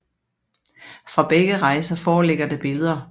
Fra begge rejser foreligger der billeder